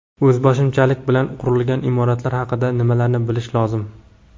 O‘zboshimchalik bilan qurilgan imoratlar haqida nimalarni bilish lozim?.